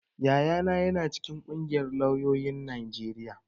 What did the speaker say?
Yayana ya na cikin ƙungiyar lauyoyin Najeriya